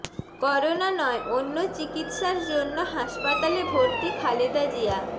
corona নয় অন্য চিকিৎসার জন্য হাসপাতালে ভর্তি খালেদা জিয়া